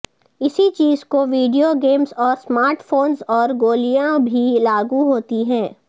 اسی چیز کو ویڈیو گیمز اور اسمارٹ فونز اور گولیاں بھی لاگو ہوتی ہے